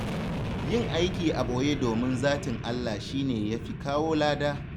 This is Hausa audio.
Yin aiki a ɓoye domin zatin Allah shi ne ya fi kawo lada.